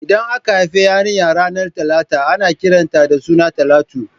Idan aka haifi yarinya ranar Talata ana kiran ta da suna Talatu